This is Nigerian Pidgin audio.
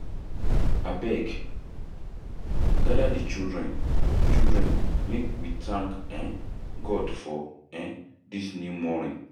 Abeg, gada di children children make we thank um God for um dis new morning.